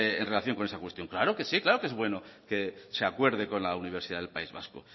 en relación con esa cuestión claro que sí claro que es bueno que se acuerde con la universidad del país vasco